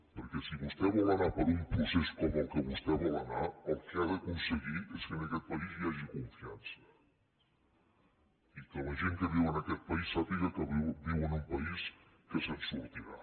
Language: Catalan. perquè si vostè vol anar per un procés com el que vostè hi vol anar el que ha d’aconseguir és que en aquest país hi hagi confiança i que la gent que viu en aquest país sàpiga que viu en un país que se’n sortirà